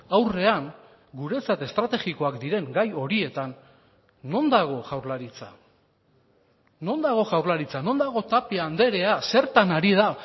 aurrean guretzat estrategikoak diren gai horietan non dago jaurlaritza non dago jaurlaritza non dago tapia andrea zertan ari da